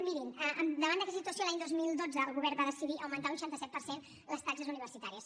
mirin davant d’aquesta situació l’any dos mil dotze el govern va decidir augmentar un seixanta set per cent les taxes universitàries